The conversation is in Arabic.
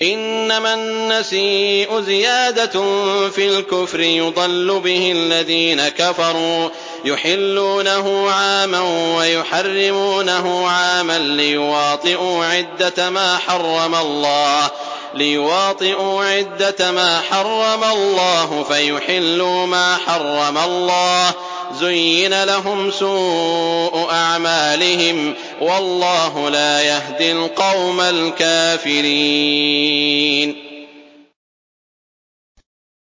إِنَّمَا النَّسِيءُ زِيَادَةٌ فِي الْكُفْرِ ۖ يُضَلُّ بِهِ الَّذِينَ كَفَرُوا يُحِلُّونَهُ عَامًا وَيُحَرِّمُونَهُ عَامًا لِّيُوَاطِئُوا عِدَّةَ مَا حَرَّمَ اللَّهُ فَيُحِلُّوا مَا حَرَّمَ اللَّهُ ۚ زُيِّنَ لَهُمْ سُوءُ أَعْمَالِهِمْ ۗ وَاللَّهُ لَا يَهْدِي الْقَوْمَ الْكَافِرِينَ